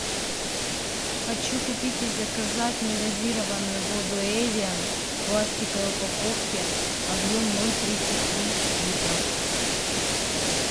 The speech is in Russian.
хочу купить и заказать негазированную воду эвиан в пластиковой упаковке объем ноль тридцать три литра